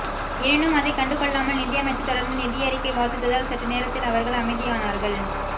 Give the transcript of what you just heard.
எனினும் அதை கண்டுகொள்ளாமல் நிதியமைச்சர் தொடர்ந்து நிதியறிக்கை வாசித்ததால் சற்று நேரத்தில் அவர்கள் அமைதியானார்கள்